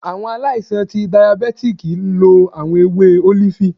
Awọn aláìsàn ti dàyábetikí lo awọn èwé olifi